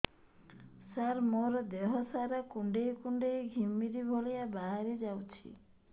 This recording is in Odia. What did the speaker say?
ସାର ମୋର ଦିହ ସାରା କୁଣ୍ଡେଇ କୁଣ୍ଡେଇ ଘିମିରି ଭଳିଆ ବାହାରି ଯାଉଛି